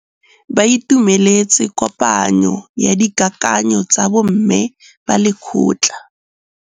Ba itumeletse kôpanyo ya dikakanyô tsa bo mme ba lekgotla.